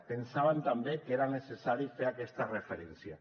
pensàvem també que era necessari fer aquesta referència